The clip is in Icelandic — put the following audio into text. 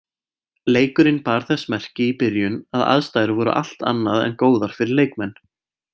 Leikurinn bar þess merki í byrjun að aðstæður voru allt annað en góðar fyrir leikmenn.